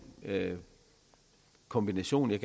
kombination jeg